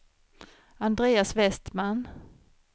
Andreas Vestman